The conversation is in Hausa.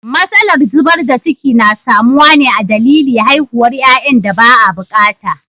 Matsalar zubar da ciki na samuwa ne a dalili haihuwar yayan da ba a bukata.